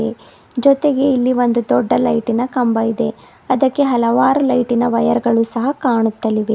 ಜೊತೆಗೆ ಇಲ್ಲಿ ಒಂದು ದೊಡ್ಡ ಲೈಟಿನ ಕಂಬ ಇದೆ ಅದಕ್ಕೆ ಹಲವಾರು ಲೈಟಿನ ವೈರ್ ಗಳು ಸಹ ಕಾಣುತ್ತಲಿವೆ.